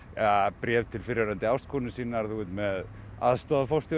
bréf til fyrrverandi ástkonu sinnar þú ert með aðstoðarforstjóra